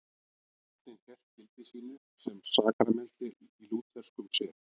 Skírnin hélt gildi sínu sem sakramenti í lútherskum sið.